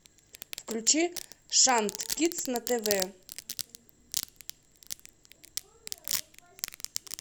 включи шант кидс на тв